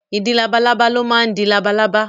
Ìdin labalábá ló máa ń di labalábá.